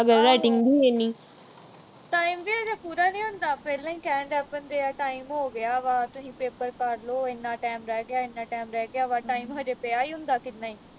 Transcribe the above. time ਵੀ ਹਜੇ ਪੂਰਾ ਨੀ ਹੁੰਦਾ ਪਹਿਲਾਂ ਹੀ ਕਹਿਣ ਲੱਗ ਪੈਂਦੇ ਆ time ਹੋ ਗਿਆ ਵਾ ਤੁਹੀ paper ਕਰ ਲੋ ਇੰਨਾ time ਰਹਿ ਗਿਆ ਇੰਨਾ time ਰਹਿ ਗਿਆ ਵਾ time ਹਜੇ ਪਿਆ ਈ ਹੁੰਦਾ ਕਿੰਨਾ ਈ